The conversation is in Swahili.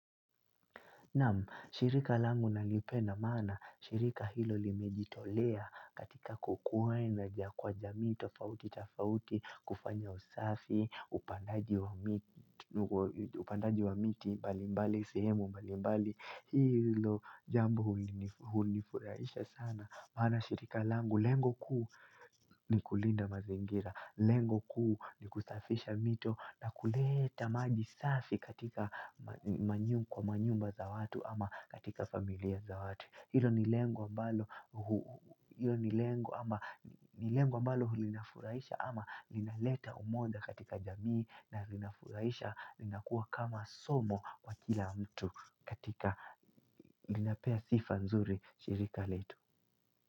Naam, shirika langu nalipenda maana, shirika hilo limejitolea katika kukuenza kwa jamii tofauti, tofauti, kufanya usafi, upandaji wa miti upandaji wa miti, mbalimbali, sehemu, mbalimbali, hilo jambo hunifuraisha sana. Maana shirika langu lengo kuu ni kulinda mazingira, lengo kuu ni kusafisha mito na kuleta maji safi katika kwa manyumba za watu ama katika familia za watu. Hilo ni lengo ambalo linafuraisha ama ninaleta umoja katika jamii na linafuraisha lina kuwa kama somo kwa kila mtu katika linapea sifa nzuri shirika letu.